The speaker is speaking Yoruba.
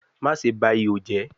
Maṣe ba iho jẹ